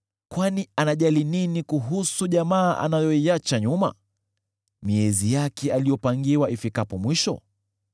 Kwani anajali nini kuhusu jamaa anayoiacha nyuma, miezi yake aliyopangiwa ifikapo mwisho?